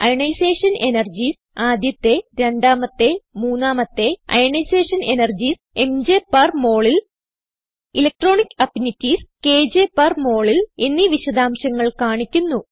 ionisation energies ആദ്യത്തെ രണ്ടാമത്തെ മൂന്നാമത്തെ അയോണൈസേഷൻ എനർജീസ് ംജ് പെർ മോൾ ൽ ഇലക്ട്രോണിക് അഫിനിറ്റീസ് കെജെ പെർ molൽ എന്നീ വിശദാംശങ്ങൾ കാണിക്കുന്നു